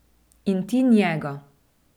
In ti njega.